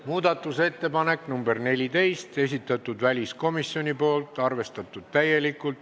Muudatusettepaneku nr 14 on esitanud väliskomisjon, täielikult arvestatud.